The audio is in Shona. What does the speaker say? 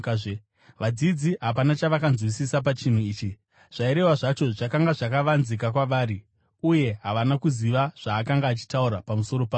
Vadzidzi hapana chavakanzwisisa pachinhu ichi. Zvairehwa zvacho zvakanga zvakavanzika kwavari, uye havana kuziva zvaakanga achitaura pamusoro pazvo.